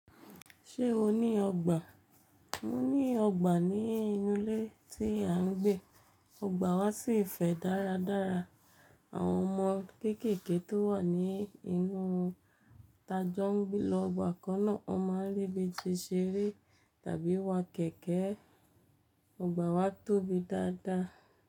Ṣé o ní ọgbà? Mo ní ọgbà ní inú ilé tí à ń gbé. Ọgbà wa sì fẹ̀ dáradára. Àwọn ọmọ kéékèèké tó wà ní inú ta jọ ń gbé lọ ọgbà kan náà. Wọ́n máa ń rébi ti ṣeré tàbí wa kẹ̀kẹ́. Ọgbà wa tóbi dáadáa.